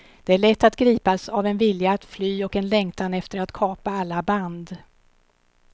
Det är lätt att gripas av en vilja att fly och en längtan efter att kapa alla band.